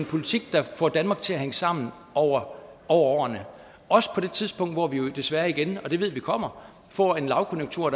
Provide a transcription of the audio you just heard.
politik der får danmark til at hænge sammen over årene også på det tidspunkt hvor vi desværre igen og vi ved at det kommer får en lavkonjunktur